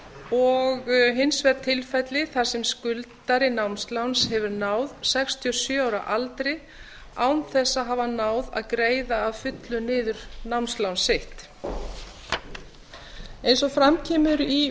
og hins vegar tilfelli þar sem skuldari námsláns hefur náð sextíu og sjö ára aldri án þess að hafa náð að greiða að fullu niður námslán sitt eins og fram kemur í